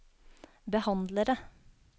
behandlere